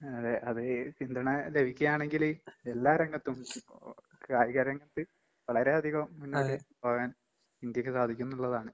അതെ. അത് പിന്തുണ ലഭിക്കാണെങ്കില് എല്ലാ രംഗത്തും ഓ ഓ കായിക രംഗത്ത് വളരെയധികം മുന്നോട്ട് പോകാൻ ഇന്ത്യക്ക് സാധിക്കുംന്നിള്ളതാണ്.